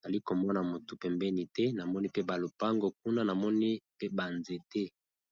nali komona motu pembeni te namoni pe ba lopango kuna namoni pe ba nzete.